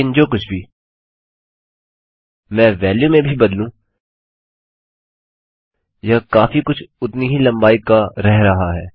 लेकिन जो कुछ भी मैं वेल्यू में भी बदलूँ यह काफी कुछ उतनी ही लम्बाई का रह रहा है